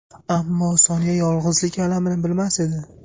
Ammo Sonya yolg‘izlik alamini bilmas edi.